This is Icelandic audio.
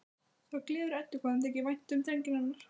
Það gleður Eddu hvað þeim þykir vænt um drenginn hennar.